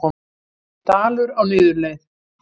Dalur á niðurleið